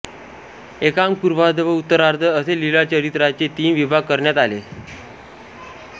एकांक पूर्वाध व उत्तरार्ध असे लीळाचरित्राचे तीन विभाग करण्यात आले